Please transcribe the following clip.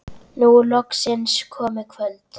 Nú er loksins komið kvöld.